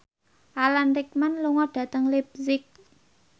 Alan Rickman lunga dhateng leipzig